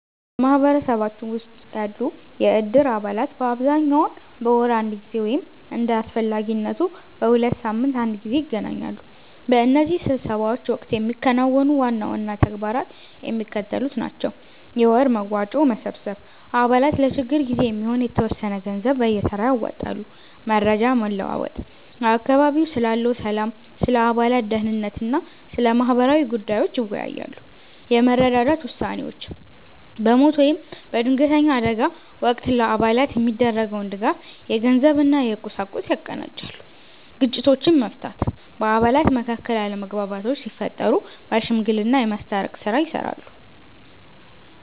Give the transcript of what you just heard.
በማኅበረሰባችን ውስጥ ያሉ የእድር አባላት በአብዛኛው በወር አንድ ጊዜ ወይም እንደ አስፈላጊነቱ በሁለት ሳምንት አንድ ጊዜ ይገናኛሉ። በእነዚህ ስብሰባዎች ወቅት የሚከናወኑ ዋና ዋና ተግባራት የሚከተሉት ናቸው፦ የወር መዋጮ መሰብሰብ፦ አባላት ለችግር ጊዜ የሚሆን የተወሰነ ገንዘብ በየተራ ያዋጣሉ። መረጃ መለዋወጥ፦ በአካባቢው ስላለው ሰላም፣ ስለ አባላት ደኅንነት እና ስለ ማህበራዊ ጉዳዮች ይወያያሉ። የመረዳዳት ውሳኔዎች፦ በሞት ወይም በድንገተኛ አደጋ ወቅት ለአባላት የሚደረገውን ድጋፍ (የገንዘብ እና የቁሳቁስ) ያቀናጃሉ። ግጭቶችን መፍታት፦ በአባላት መካከል አለመግባባቶች ሲፈጠሩ በሽምግልና የማስታረቅ ሥራ ይሠራሉ።